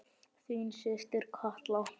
Þín systir Katla.